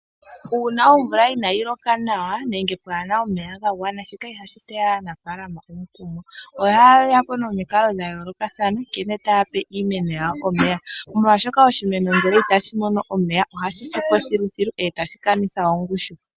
Uuna omvula inaayi loka nawa, nenge pwaana omeya gagwana nawa, shika ihashi teya aanafalama omukumo, ohayepo nomikalo dhayoolokathana, nkene taya pe iimeno yawo omeya, molwaashoka oshimeno ngele itashi mono omeya, ohashi sipo thiluthilu, e tashi kanitha ongushu.